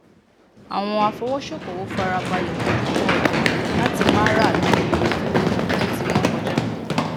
àwọn afowóṣókowò farabalẹ mojuto ojú ọjà láti má ra a lori iye to ti wọn kọja